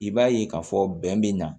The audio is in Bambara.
I b'a ye k'a fɔ bɛn bɛ na